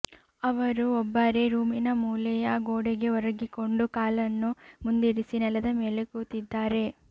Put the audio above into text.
ಅವರು ಒಬ್ಬರೇ ರೂಮಿನ ಮೂಲೆಯ ಗೋಡೆಗೆ ಒರಗಿಕೊಂಡು ಕಾಲನ್ನು ಮುಂದಿರಿಸಿ ನೆಲದ ಮೇಲೆ ಕೂತಿದ್ದಾರೆ